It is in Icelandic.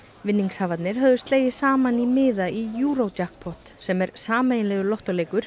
vinningshafarnir höfðu slegið saman í miða í sem er sameiginlegur